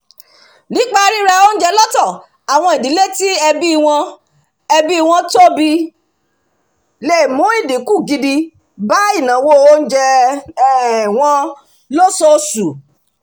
nípa ríra oúnjẹ lọ́pọ̀ àwọn ìdílé tí ẹbí wọn ẹbí wọn tóbi le mú ìdínkù gidi bá ìnáwó oúnjẹ um wọn lóṣooṣù